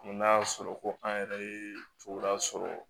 N'a y'a sɔrɔ ko an yɛrɛ ye coron a sɔrɔ